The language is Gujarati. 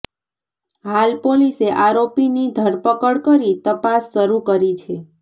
હાલ પોલીસે આરોપીની ધરપકડ કરી તપાસ શરૂ કરી છે